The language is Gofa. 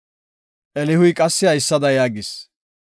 Elihuy qassi haysada yaagis;